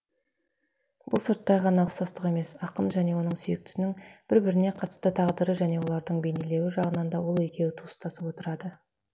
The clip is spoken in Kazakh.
бұл сырттай ғана ұқсастық емес ақын және оның сүйіктісінің бір біріне қатысты тағдыры және оларды бейнелеуі жағынан да ол екеуі туыстасып отырады